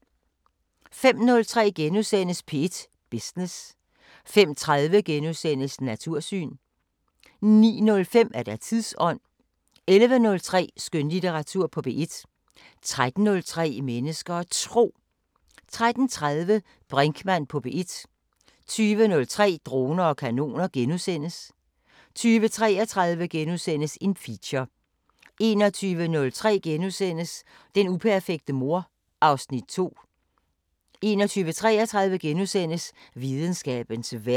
05:03: P1 Business * 05:30: Natursyn * 09:05: Tidsånd 11:03: Skønlitteratur på P1 13:03: Mennesker og Tro 13:30: Brinkmann på P1 20:03: Droner og kanoner * 20:33: Feature * 21:03: Den uperfekte mor (Afs. 2)* 21:33: Videnskabens Verden *